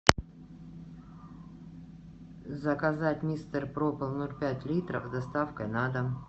заказать мистер проппер ноль пять литров с доставкой на дом